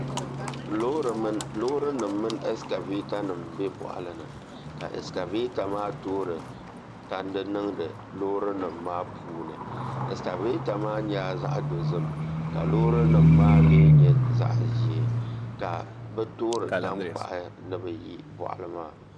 Loori nim mini ɛskavɛta nim n bɛ tandi boɣali ni ka ɛskavɛta maa toori tandi niŋdi loori nim maa puuni ɛskavɛta maa nyɛla zaɣ dozim ka loori nim maa mii nyɛ zaɣ ʒiɛ ka bi toori tankpaɣu ni bi yi boɣali maa ni